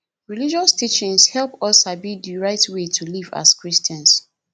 religious teachings help us sabi di right way to live as christians